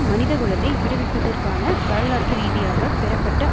மனிதகுலத்தை விடுவிப்பதற்கான வரலாற்று ரீதியாக பெறப்பட்ட